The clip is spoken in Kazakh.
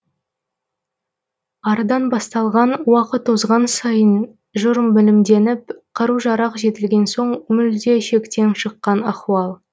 арыдан басталған уақыт озған сайын жұр білімденіп қару жарақ жетілген соң мүлде шектен шыққан ахуал